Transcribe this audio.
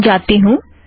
यहाँ जाती हूँ